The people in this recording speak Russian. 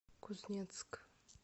кузнецк